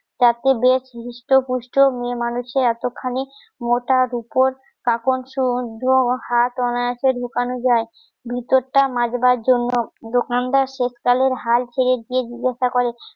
যাতে বেশ হৃষ্টপুষ্ট মেয়েমানুষের এত খানিমোটা, রুপোর কাপড় হাত অনায়াসে ঢোকানো যায়. ভিতরটা মাজবার জন্য দোকানদার শেষকালের হাল ছেড়ে গিয়ে জিজ্ঞাসা করে